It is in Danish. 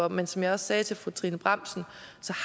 men som jeg også sagde til fru trine bramsen